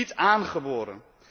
Het is niet aangeboren.